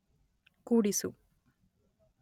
ಕೂಡಿಸು